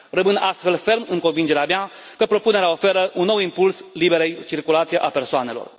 Rămân astfel ferm în convingerea mea că propunerea oferă un nou impuls liberei circulații a persoanelor.